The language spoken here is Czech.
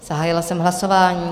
Zahájila jsem hlasování.